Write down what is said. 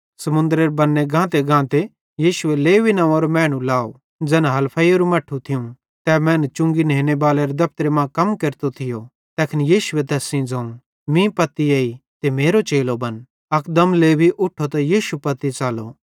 समुन्दरेरे बन्ने गातेगाते यीशुए लेवी नंव्वेरे मैनू लाव ज़ैन हलफईसेरू मट्ठू थियूं तै मैनू चुंगी नेनेरे दफ़तरे मां कम केरतो थियो तैखन यीशुए तैस सेइं ज़ोवं मीं पत्ती एई ते मेरो चेलो बन अकदम लेवी उठो त यीशु पत्ती च़लो